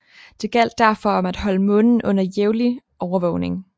Det gjaldt derfor om at holde Månen under jævnlig overvågning